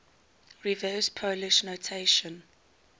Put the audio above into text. reverse polish notation